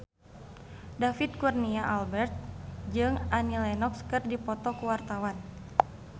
David Kurnia Albert jeung Annie Lenox keur dipoto ku wartawan